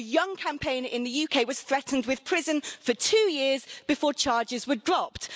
A young campaigner in the UK was threatened with prison for two years before charges were dropped.